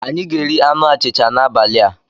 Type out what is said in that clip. Anyị ga-eri anụ achịcha n'abalị a.